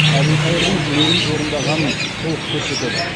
әбілқайырдың тілегін орындағанын толық көрсетеді